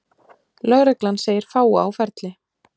Lögreglan segir fáa á ferli